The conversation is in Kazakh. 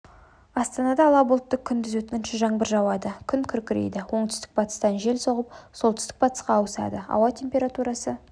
астанада ала бұлтты күндіз өткінші жаңбыр жауады күн күркірейді оңтүстік-батыстан жел соғып солтүстік-батысқа ауысады ауа температурасы